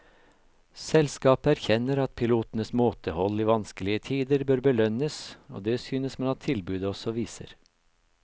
Selskapet erkjenner at pilotenes måtehold i vanskelige tider bør belønnes, og det synes man at tilbudet også viser.